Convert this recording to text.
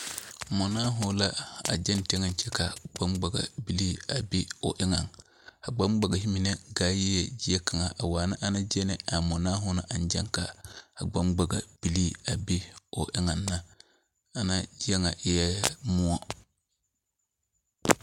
Mɔnaaho la agyɛŋ teŋeŋ kyɛ ka gboŋgbaga bilii a be o eŋaŋ, a gboŋgbagehe mine gaa yie gyie kaŋaa waana ana gyie ni a mɔnaaho ne aŋ gyɛŋ ka a gboŋgbagebilii a be o eŋaŋ ne. Ana gyie ŋa eɛ moɔ.